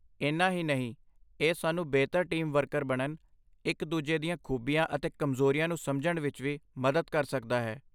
ਇੰਨਾ ਹੀ ਨਹੀਂ, ਇਹ ਸਾਨੂੰ ਬਿਹਤਰ ਟੀਮ ਵਰਕਰ ਬਣਨ, ਇਕ ਦੂਜੇ ਦੀਆਂ ਖੂਬੀਆਂ ਅਤੇ ਕਮਜ਼ੋਰੀਆਂ ਨੂੰ ਸਮਝਣ ਵਿਚ ਵੀ ਮਦਦ ਕਰ ਸਕਦਾ ਹੈ